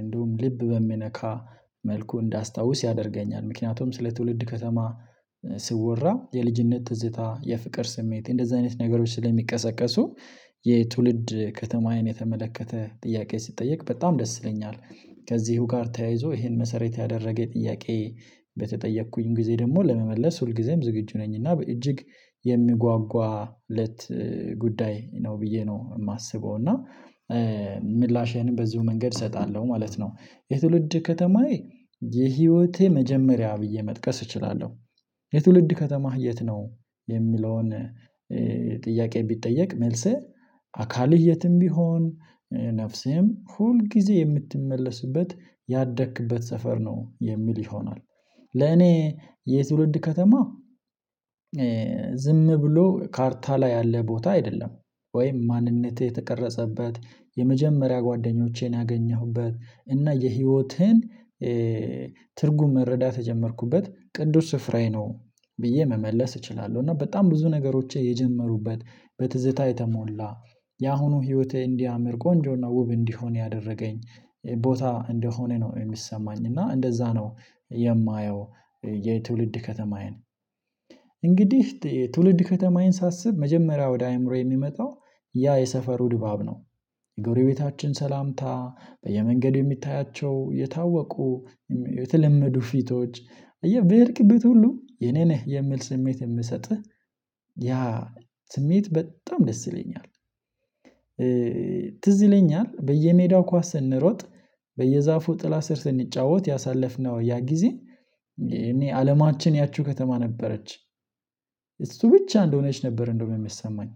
እንዲሁም ልብ በሚነካ መልኩ እንዳስታውስ ያደርገኛል። ምክንያቱም ስለ ትውልድ ከተማ ሲወራ የልጅነት ትዝታ የፍቅር ስሜት እንደዚህ አይነት ነገሮች ስለሚቀሰቀሱ የትውልድ ከተማዬን የተመለከተ ጥያቄ ሲጠየቅ በጣም ደስ ይለኛል። ከዚህ ጋር ተያይዞ ይሄን መሰረት ያደረገ ጥያቄ በተጠየቅኩኝ ጊዜ ደግሞ ለመመለስ ሁልጊዜም ዝግጁ ነኝ። እና በእጅግ የምጓጓለት ጉዳይ ነው ብዬ ነው የማስበው እና ምላሽህንም በዚሁ መንገድ እሰጣለሁ ማለት ነው። የትውልድ ከተማዬ የህይወቴ መጀመሪያ ብየ መጥቀስ እችላለሁ። የትውልድ ከተማህ የት ነው? የሚለውን ጥያቄ ብጠየቅ መልሴ አካልህ የትም ቢሆን ነፍስህም ሁል ጊዜ የምትመለስበት ያደክበት ሰፈር ነው የሚል ይሆናል። ለኔ የትውልድ ከተማ ዝም ብሎ ካርታ ላይ ያለ ቦታ አይደለም። ወይም ማንነቴ የተቀረጸበት የመጀመሪያ ጓደኞቼን ያገኘሁበት እና የህይወቴን ትርጉም መረዳት የጀመርኩበት ቅዱስ ስፍራዬ ነው። ብዬ መመለስ እችላለሁ እና በጣም ብዙ ነገሮቼ የጀመሩበት በትዝታ የተሞላ ያሁኑ ህይወቴ እንዲያምር ቆንጆና ውብ እንዲሆን ያደረገኝ ቦታ እንደሆነ ነው የሚሰማኝ እና እንደዛ ነው የማየው። የትውልድ ከተማዬን እንግዲህ ትውልድ ከተማዬን ሳስብ መጀመሪያ ወደ አእምሮዬ የሚመጣው ያ የሰፈሩ ድባብ ነው። የጎረቤታችን ሰላምታ በየመንገዱ የምታያቸው የታወቁ የተለመዱ ፊቶች አየህ በሄድክበት ሁሉ የኔ ነህ የሚል ስሜት የሚሰጥህ ያ ስሜት በጣም ደስ ይለኛል። ትዝ ይለኛል በየሜዳው ኳስ ስንሮጥ በየዛፉ ጥላ ስር ስንጫወት ያሳለፍነው ያ ጊዜ እኔ አለማችን ያቺው ከተማ ነበረች። እሱ ብቻ እንደሆነች ነበር እንዲያውም የሚሰማኝ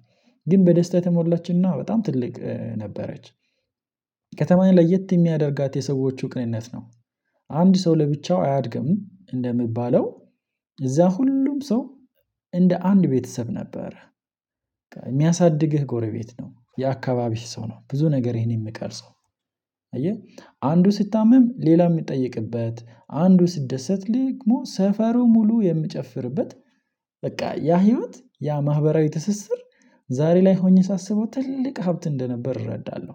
ግን በደስታ የተሞላችና በጣም ትልቅ ነበረች። ከተማዬ ለየት የሚያደርጋት የሰዎቹ ቅንነት ነው። አንድ ሰው ለብቻው አያድግም እንደሚባለው እዛ ሁሉም ሰው እንደ አንድ ቤተሰብ ነበረ። ጎረቤት ነው የአካባቢህ ሰው ነው ብዙ ነገር ህን የሚቀርጸው አየህ አንዱ ሲታመም ሌላ የሚጠይቅበት አንዱ ሲደሰት ደግሞ ሰፈሩ ሙሉ የሚጨፍርበት በቃ ያ ህይወት ያ ማህበራዊ ትስስር ዛሬ ላይ ሆኜ ሳስበው ትልቅ ሀብት እንደነበር እረዳለሁ።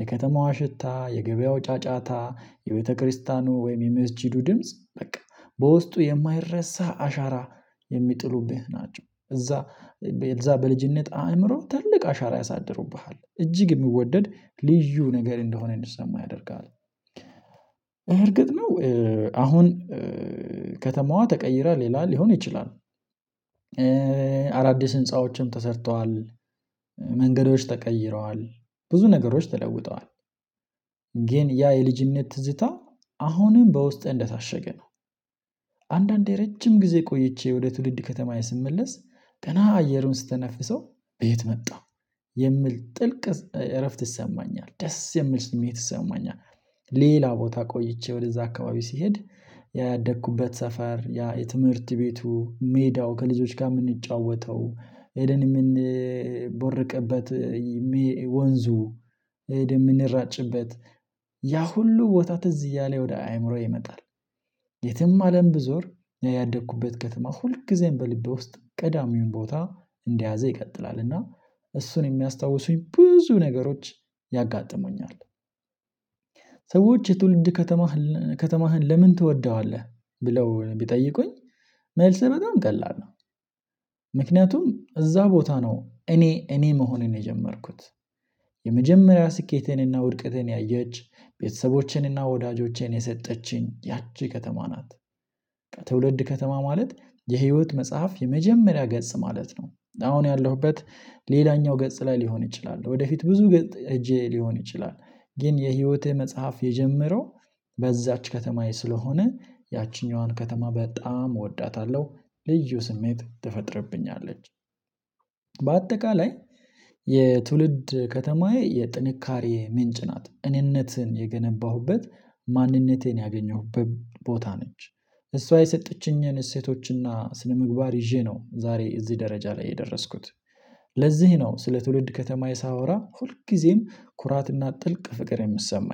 የከተማዋ ሽታ የገበያው ጫጫታ የቤተክርስቲያኑ ወይም የመስጊዱ ድምጽ በቃ በውስጡ የማይረሳ አሻራ የሚጥሉብህ ናቸው። እዛ እዛ በልጅነት አእምሮ ትልቅ አሻራ ያሳድሩብሃል እጅግ የሚወደድ ልዩ ነገር እንደሆነ እንዲሰማ ያደርግሃ ል እርግጥ ነው። አሁን ከተማዋ ተቀይራ ሌላ ሊሆን ይችላል። አዳዲስ ህንፃዎችም ተሰርተዋል። መንገዶች ተቀይረዋል ብዙ ነገሮች ተለውጠዋል። ግን ያ የልጅነት ትዝታ አሁንም በውስጥህ እንደታሸገ ነው። አንዳንዴ ረጅም ጊዜ ቆይቼ ወደ ትውልድ ከተማዬ ስመለስ ገና አየሩን ስተነፍሰው በየት መጣ የሚል ጥልቅ እረፍት ይሰማኛል ደስ የሚል ስሜት ይሰማኛል። ሌላ ቦታ ቆይቼ ወደዛ አካባቢ ስሄድ ያ ያደኩበት ሰፈር ያ የትምህርት ቤቱ ሜዳው ከልጆች ጋር የምንጫወተው ሄደን የምንቦርቅበት ወንዙ ሄደን የምንራጭበት ያ ሁሉ ቦታ ትዝ እያለኝ ወደ አእምሮዬ ይመጣል። የትም አለም ብዞር ያደኩበት ከተማ ሁልጊዜም በልቤ ውስጥ ቀዳሚውን ቦታ እንደያዘ ይቀጥላል እና እሱን የሚያስታውሱኝ ብዙ ነገሮች ያጋጥሙኛል። ሰዎች የትውልድ ከተማህን ከተማህን ለምን ትወደዋለህ? ብለው ቢጠይቁኝ መልሴ በጣም ቀላል ነው። ምክንያቱም እዛ ቦታ ነው እኔ እኔ መሆንን ነው የጀመርኩት የመጀመሪያ ስኬቴንና ውድቀቴን ያየች ቤተሰቦቼንና ወዳጆቼን የሰጠችኝ ያቺ ከተማ ናት። ትውልድ ከተማ ማለት የህይወት መጽሐፍ የመጀመሪያ ገጽ ማለት ነው። አሁን ያለሁበት ሌላኛው ገጽ ላይ ሊሆን ይችላል ወደፊት ብዙ ገጽ ሄጄ ሊሆን ይችላል ግን የህይወቴ መጽሐፍ የጀመረው በዛች ከተማዬ ስለሆነ ያቺኛዋን ከተማ በጣም እወዳታለሁ። ልዩ ስሜት ትፈጥርብኛለች። በአጠቃላይ የትውልድ ከተማዬ የጥንካሬ ምንጭ ናት እኔነትን የገነባሁበት ማንነቴን ያገኘሁበት ቦታ ነች እሷ የሰጠችኝን እሴቶችና ስነምግባር ይዤ ነው ዛሬ እዚህ ደረጃ ላይ የደረስኩት። ለዚህ ነው ስለ ትውልድ ከተማዬ ሳወራ ሁልጊዜም ኩራትና ጥልቅ ፍቅር የሚሰማኝ